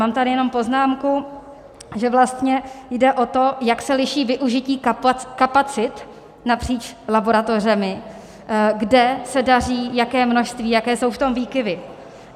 Mám tady jenom poznámku, že vlastně jde o to, jak se liší využití kapacit napříč laboratořemi, kde se daří jaké množství, jaké jsou v tom výkyvy.